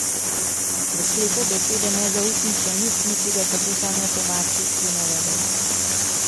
V sklepu besede nezaupnica ni, niti ga tako sam ne tolmači, je navedel.